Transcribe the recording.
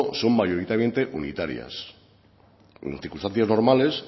son mayoritariamente unitarias y en circunstancias normales